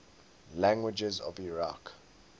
languages of iraq